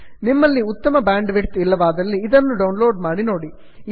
ನಿಮ್ಮಲ್ಲಿ ಉತ್ತಮ bandwidth ಇಲ್ಲವಾದಲ್ಲಿ ಇದನ್ನು ಡೌನ್ ಲೋಡ್ ಮಾಡಿ ನೋಡಿ